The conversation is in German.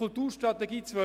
«Kulturstrategie 2018».